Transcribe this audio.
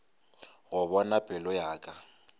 go bona pelo ya ka